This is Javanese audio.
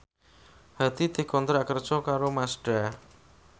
Hadi dikontrak kerja karo Mazda